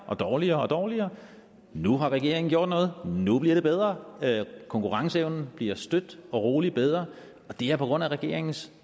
og dårligere og dårligere nu har regeringen gjort noget nu bliver det bedre konkurrenceevnen bliver støt og roligt bedre det er på grund af regeringens